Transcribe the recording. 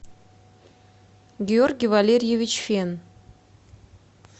георгий валерьевич фен